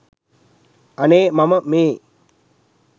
අනේ මම මේ